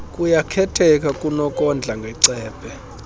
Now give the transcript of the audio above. kuyakhetheka kunokondla ngecephe